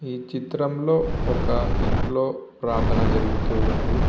ఈ చిత్రంలో ఒక ఇంట్లో ప్రార్ధన జరుగుతూ ఉంది.